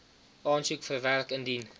aansoek verwerk indien